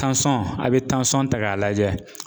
Tansɔn, a bɛ tansɔn ta k'a lajɛ.